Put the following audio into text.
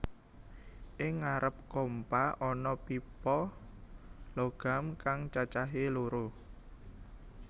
Ing ngarep kompa ana pipa logam kang cacahé loro